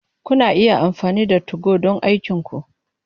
Kuna iya amfani da 2go don aikinku.